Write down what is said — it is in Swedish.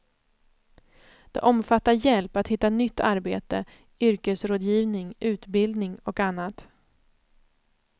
Det omfattar hjälp att hitta nytt arbete, yrkesrådgivning, utbildning och annat.